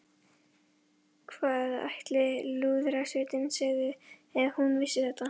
Hvað ætli Lúðrasveitin segði ef hún vissi þetta?